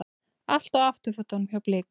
Allt á afturfótunum hjá Blikum